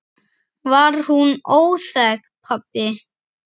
Var hún óþæg, pabbi?